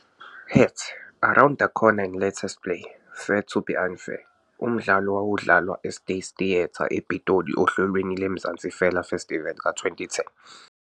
Heads,' 'Around the Corner and the latest play' 'Fair To be Un-Fair' umdlalo owawudlalwa eState Theatre ePitoli ohlelweni lweMzansi Fela Festival ka-2010.